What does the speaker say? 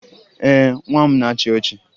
Ee, nwa m na-achị ọchị